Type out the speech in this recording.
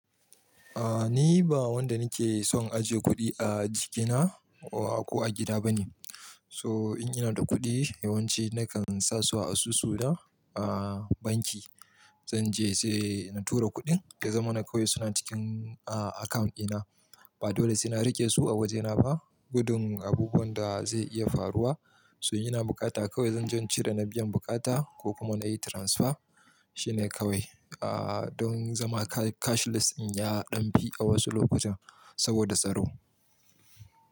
A ni ba wanda nake son ajiye kuɗi a jikina ko a gida bane. So in ina da kuɗi yawanci nakan sa su a asusu na a banki. Zan je sai na tura kuɗin, da zaman na kawai suna cikin a account ina. Ba dole sai na rike su a wajena ba. Gudun abubuwan da zai iya faruwa, so in ina bukata kawai zan je in cire na biyan bukata ko kuma na yi transfer shine kawai. A don zama ca-cashless in ya ɗan fi a wasu lokutan saboda tsaro.